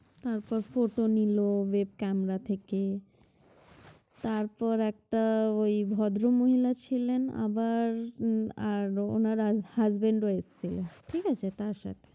তারপর photo নিলো web camara থেকে তারপর একটা ওই ভদ্র মহিলা ছিলেন আবার উম আর ওনার husband রয়েছে ঠিক আছে তাঁর সাথে